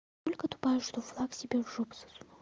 только тупая что флаг тебе в жопу засунула